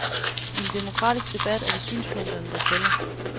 I en demokratisk debat er det synspunkterne, der tæller.